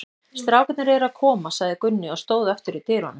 Strákarnir eru að koma, sagði Gunni og stóð aftur í dyrunum.